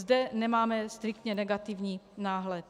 Zde nemáme striktně negativní náhled.